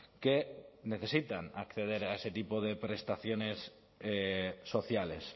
que necesitan acceder a ese tipo de prestaciones sociales